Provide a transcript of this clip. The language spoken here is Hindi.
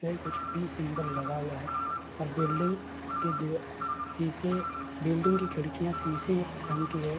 पे कुछ पी सिंबल लगा हुआ है और बिल्डिंग की दिवा सीसे बिल्डिंग की खिडकियाँ सीसे रंग की है।